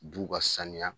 Du ka saniya